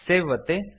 save ಒತ್ತಿ